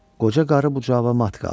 Qoca qarı bu cavabə mat qaldı.